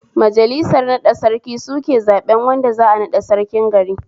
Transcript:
Majalisar naɗa Sarki suke zaɓen wanda za'a naɗa Sarkin gari